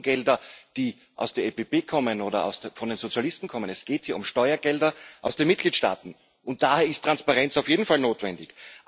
Es geht nicht um Gelder, die aus der EPP oder von den Sozialisten kommen, sondern es geht hier um Steuergelder aus den Mitgliedstaaten, und daher ist Transparenz auf jeden Fall notwendig.